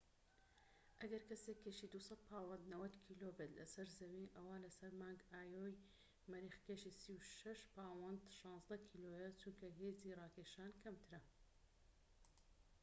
ئەگەر کەسێك كێشی ٢٠٠ پاوەند ٩٠ کیلۆ بێت لەسەر زەوی، ئەوا لەسەر مانگی ئایۆ ی مەریخ کێشی ٣٦ پاوەند ١٦ کیلۆیە. چونکە هێزی ڕاکێشان کەمترە